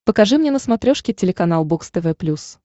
покажи мне на смотрешке телеканал бокс тв плюс